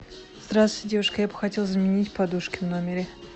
здравствуйте девушка я бы хотела заменить подушки в номере